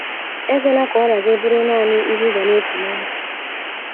Ekwela ka ọrịa gị bụrụ nanị ihe ị ga na - eche ná ndụ.